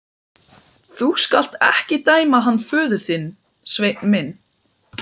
Þú skalt ekki dæma hann föður þinn, Sveinn minn.